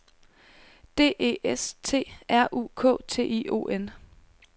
D E S T R U K T I O N